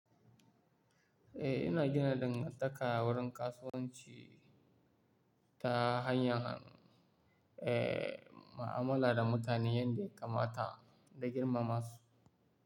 Eh, ina gina dangantaka wurin kasuwanci ta hanyar, eh, mu'amala da mutane yanda ya kamata da girmama su.